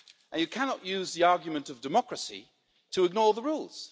You cannot use the argument of democracy to ignore the rules.